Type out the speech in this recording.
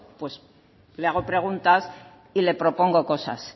pues le hago preguntas y le propongo cosas